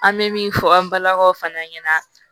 An bɛ min fɔ an balakaw fana ɲɛna